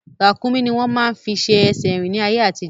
Ràkúnmí ni wọ́n máa ń fi ṣe ẹsẹ̀ rín ní ayé àtijọ́